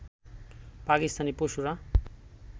পাকিস্তানি পশুরা